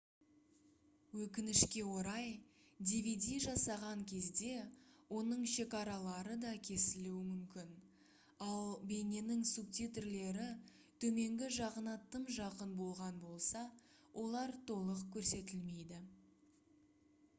өкінішке орай dvd жасаған кезде оның шекаралары да кесілуі мүмкін ал бейненің субтитрлері төменгі жағына тым жақын болған болса олар толық көрсетілмейді